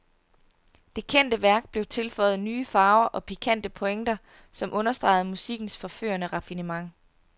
Det kendte værk blev tilføjet nye farver og pikante pointer, som understregede musikkens forførende raffinement.